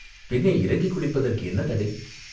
பின்னே, இறங்கிக் குளிப்பதற்கு என்ன தடை?